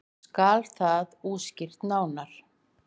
Skal það útskýrt nánar.